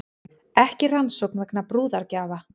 Ekki rannsókn vegna brúðargjafa